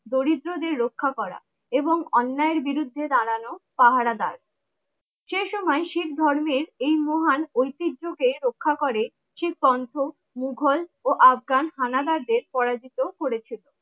দরিদ্র দের রক্ষা করা এবং অন্যায়ের বিরুদ্ধে দাঁড়ানো পাহারাদার সেই সময় শিখ ধর্মের এই মহান অতিহ্য কে রক্ষা করে মুঘল ও আফগান হানাদারদের পরাজিত করেছে